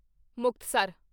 Muktsar